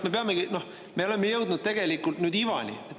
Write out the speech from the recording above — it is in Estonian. Me oleme jõudnud nüüd ivani.